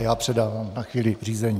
A já předávám na chvíli řízení.